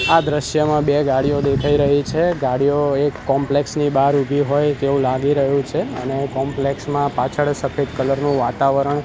આ દ્રશ્યમા બે ગાડીયો દેખાય રહી છે ગાડીયો એક કોમ્પ્લેક્સ ની બાર ઉભી હોય તેવું લાગી રહ્યુ છે અને કોમ્પ્લેક્સ માં પાછળ સફેદ કલર નું વાતાવરણ --